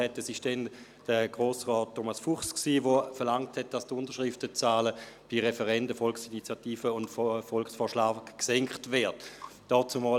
Damals war es Herr Grossrat Thomas Fuchs, der verlangte, dass die Unterschriftenzahlen für Referenden, Volksinitiativen und Volksvorschläge gesenkt werden.